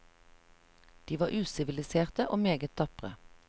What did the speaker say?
De var usiviliserte og meget tapre.